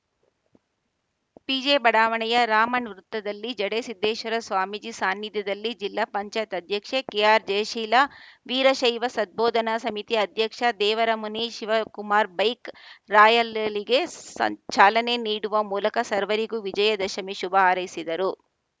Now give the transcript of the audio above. ಪಿಜೆಬಡಾವಣೆಯ ರಾಮನ್ ವೃತ್ತದಲ್ಲಿ ಜಡೇ ಸಿದ್ದೇಶ್ವರ ಸ್ವಾಮೀಜಿ ಸಾನ್ನಿಧ್ಯದಲ್ಲಿ ಜಿಲ್ಲಾ ಪಂಚಾಯತ್ ಅಧ್ಯಕ್ಷೆ ಕೆಆರ್‌ಜಯಶೀಲ ವೀರಶೈವ ಸದ್ಬೋಧನಾ ಸಮಿತಿ ಅಧ್ಯಕ್ಷ ದೇವರಮುನಿ ಶಿವಕುಮಾರ ಬೈಕ್‌ ರಾಯಲಲಿಗೆ ಚಾಲನೆ ನೀಡುವ ಮೂಲಕ ಸರ್ವರಿಗೂ ವಿಜಯ ದಶಮಿ ಶುಭ ಹಾರೈಸಿದರು